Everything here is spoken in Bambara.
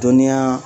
Dɔnniya